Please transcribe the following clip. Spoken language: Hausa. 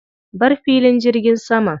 Bar filin jirgin saman.